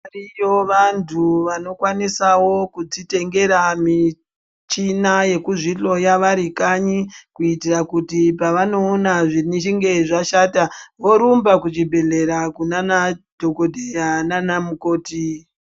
Variyowo vantu vanokwanisa kudzitengera muchina yekudzihloya varikanyi kuitira kuti pavanoona zvichinge zvashata vorumba kuchibhedhlera kunana dhogodheya nanamukoti.